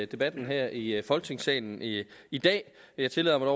debatten her i folketingssalen i i dag jeg tillader mig